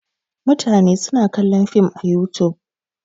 Mutane suna kallon Film a Yutub.